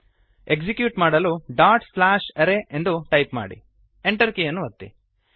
execute ಮಾಡಲು array dot slash array ಎಂದು type ಮಾಡಿ Enter ಕೀಯನ್ನು ಒತ್ತಿ